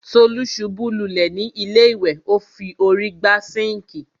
Tolú ṣubú lulẹ̀ ni ilé ìwẹ̀,o fi órí gbá sinkii.